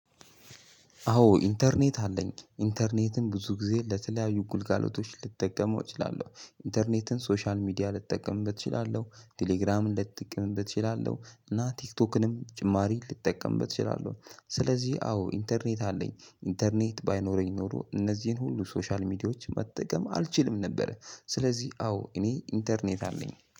አዎ ኢንተርኔት አለኝ ኢንተርኔትን ብዙ ጊዜ ለተለያዩ ጉልጋሎቶች ልጠቀመው እችላለሁ ኢንተርኔትን ሶሻል ሚዲያ ልጠቀምበት እችላለሁ ቴሌግራም ልጠቀምበት እችላለሁ። እና ቲክቶክንም ጭማሪ ልጠቀምበት እችላለሁ። ስለዚህ አዎ ኢንተርኔት አለኝ ኢንተርኔት ባይኖረኝ ኖሮ እነዚህን ሁሉ ሶሻል ሚዲያዎች መጠቀም አልችልም ነበረ። ስለዚህ አዎ እኔ ኢንተርኔት አለኝ